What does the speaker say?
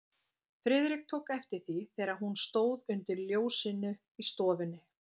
Friðrik tók eftir því, þegar hún stóð undir ljósinu í stofunni.